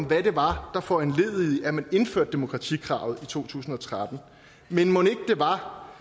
hvad det var der foranledigede at man indførte demokratikravet i to tusind og tretten men mon ikke det var